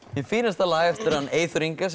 hið fínasta lag eftir Eyþór Inga sem